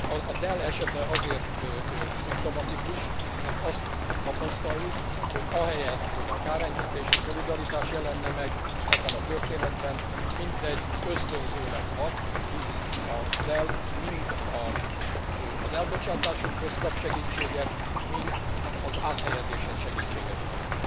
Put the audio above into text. A Dell esete azért szimptomatikus, mert azt tapasztaljuk, hogy ahelyett, hogy a kárenyhítés, a szolidaritás jelenne meg ebben a történetben, mintegy ösztönzőleg hat, hisz a Dell mind az elbocsátásokhoz kap segítséget, mind az áthelyezéshez segítséget kap.